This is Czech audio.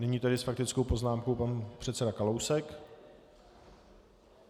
Nyní tedy s faktickou poznámkou pan předseda Kalousek.